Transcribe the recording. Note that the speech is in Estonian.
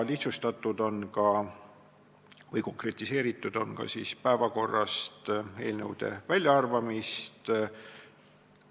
Konkretiseeritud on ka eelnõude päevakorrast väljaarvamist.